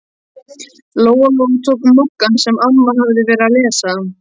Lóa-Lóa tók Moggann sem amma hafði verið að lesa.